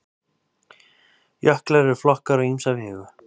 Jöklar eru flokkaðir á ýmsa vegu.